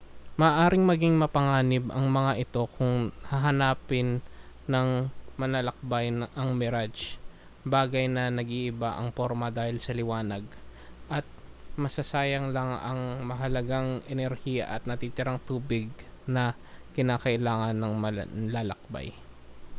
maaaring maging mapanganib ang mga ito kung hahanapin ng manlalakbay ang mirage bagay na nag-iiba ang porma dahil sa liwanag at masasayang lang ang mahalagang enerhiya at natitirang tubig na kinakailangan ng manlalakbay